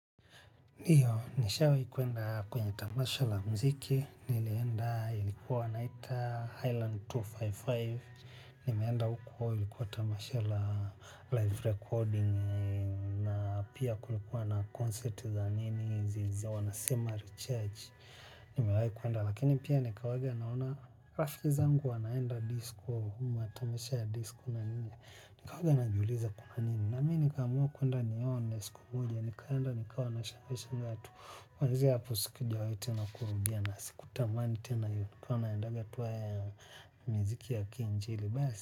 Ndiyo, nishawai kuenda kwenye tamasha la mziki, nilienda, ilikuwa wanaita Highland mia mbili na hamsini na tano. Nimeenda huko, ilikuwa tamasha la live recording, na pia kulikuwa na concert za nini, zile wanasema recharge. Nimewahi kuenda, lakini pia nikawaga naona rafiki zangu, wanaenda disko, matamasha ya disko na nini, nika waga najiuliza kuna nini. Namii nikaamua kuenda nione siku moja, nikaenda nikawa na shambesha vatu. Kuanzia hapo sikujawai tena kurudia na siku tamani tena hiyo. Nilikua naendaga tu haya ya miziki ya kiinjili.